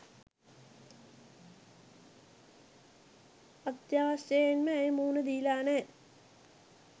අත්‍යවශ්‍යයෙන්ම ඇය මුහුණ දීලා නෑ.